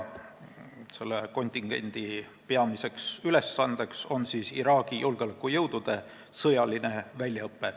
Selle kontingendi peamine ülesanne on Iraagi julgeolekujõudude sõjaline väljaõpe.